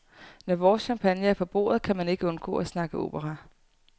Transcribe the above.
Når vores champagne er på bordet kan man ikke undgå at snakke opera.